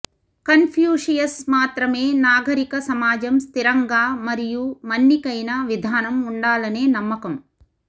Confucius మాత్రమే నాగరిక సమాజం స్థిరంగా మరియు మన్నికైన విధానం ఉండాలనే నమ్మకం